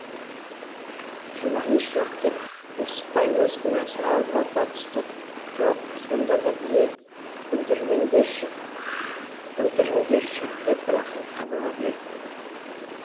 жұбаныш жоқ деп несіпбай өз кінәсін ауырлата түсті жоқ сонда да білейік білдіріңдерші деп рақым қадала берді